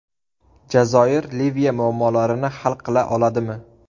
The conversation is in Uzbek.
Jazoir Liviya muammolarini hal qila oladimi?